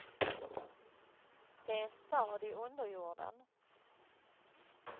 Det är en stad i underjorden.